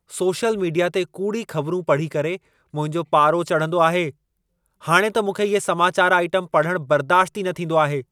Social media ते कूड़ी ख़बरूं पढ़ी करे मुंहिंजो पारो चढंदो आहे। हाणे त मूंखे इहे समाचार आइटम पढ़ण बर्दाश्त ई न थींदो आहे।